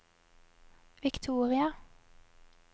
Victoria